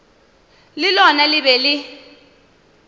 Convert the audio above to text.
le lona le be le